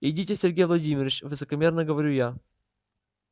идите сергей владимирович высокомерно говорю я